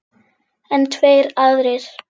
En tveir aðrir